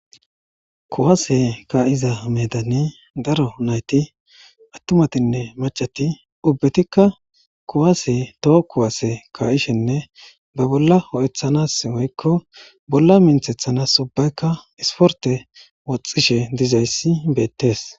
kuwase ka7iza medani daro nayti attumatinne macati ubbetikka kuwaase toho kuwaase ka7ishenne ba bolla ho7eththanas woykko bolla minthethanas ubbaykka isporte woxxishe dizayssi beettees